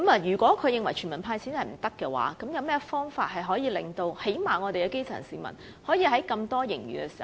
如果他認為"全民派錢"行不通，便應想想有何方法令基層市民最少也能從巨額盈餘中受惠。